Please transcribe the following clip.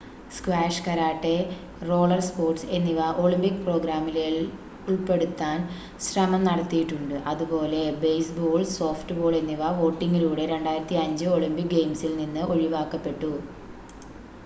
squash karate roller sports എന്നിവ Olympic പ്രോഗ്രാമിലേൽ ഉൾപ്പെടാൻ ശ്രമം നടത്തിയിട്ടുണ്ട് അതുപോലെ ബേസ്‌ബോൾ സോഫ്റ്റ്‌ബോൾ എന്നിവ വോട്ടിംഗിലൂടെ 2005 ഒളിമ്പിക് ഗെയിംസിൽ നിന്ന് ഒഴിവാക്കപ്പെട്ടു